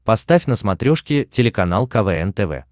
поставь на смотрешке телеканал квн тв